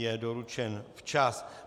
Je doručen včas.